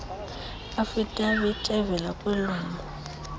affidavit evela kwilungu